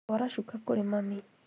Twara cuka kũrĩ mami